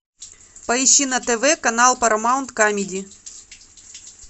поищи на тв канал парамаунт камеди